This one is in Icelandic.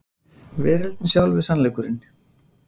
Veröldin sjálf er sannleikurinn.